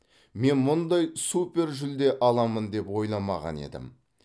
мен мұндай супержүлде аламын деп ойламаған едім